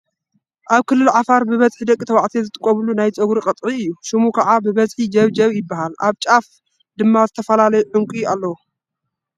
ኣብ ክልል ዓፋር ብበዝሒ ደቂ ተባዕትዮ ዝጥቀምሉ ናይ ፀጉሪ ቅጥዒ እዩ፡፡ ሽሙ ከዓ ብበዝሒ ጀብጀብ ይበሃል፤ ኣብ ጫፍ ድማ ዝተፈላለየ ዕንቁ ኣለዎ፡፡